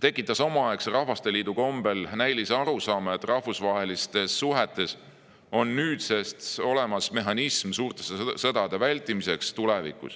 tekitas omaaegse Rahvasteliidu kombel näilise arusaama, et rahvusvahelistes suhetes on nüüdsest olemas mehhanism suurte sõdade vältimiseks tulevikus.